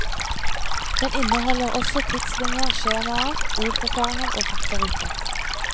Den inneholder også tidslinjer, skjemaer, ordforklaringer og faktaruter.